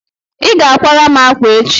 ị ga akwara m akwa echi!